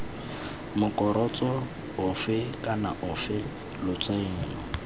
morokotso ofe kana ofe lotseno